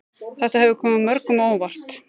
Þetta hefur komið mörgum á óvart